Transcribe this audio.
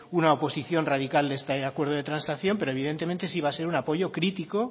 una oposición radical de este acuerdo de transacción pero evidentemente sí va a ser un apoyo crítico